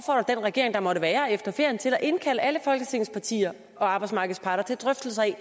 den regering der måtte være efter ferien til at indkalde alle folketingets partier og arbejdsmarkedets parter til drøftelser af